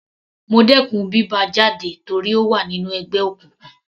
Mo dẹkùn bí bá a jáde torí ó wà nínú ẹgbẹ́ òkùnkùn.